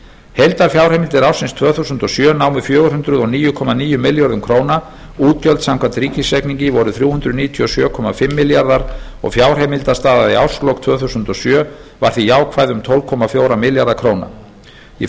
heildarfjárheimildir ársins tvö þúsund og sjö námu fjögur hundruð og níu komma níu milljörðum króna útgjöld samkvæmt ríkisreikningi voru þrjú hundruð níutíu og sjö komma fimm milljarðar og fjárheimildastaða í árslok tvö þúsund og sjö var því jákvæð um tólf komma fjóra milljarða króna í